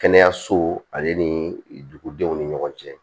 Kɛnɛyaso ale ni dugudenw ni ɲɔgɔn cɛ